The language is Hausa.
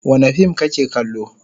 Wane fim kake kallo?